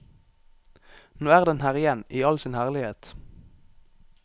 Nå er den her igjen i all sin herlighet.